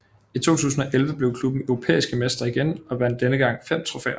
I 2011 blev klubben europæiske mestre igen og vandt denne gang fem trofæer